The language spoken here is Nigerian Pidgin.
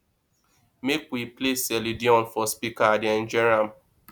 make we play celine dion for speaker i dey enjoy am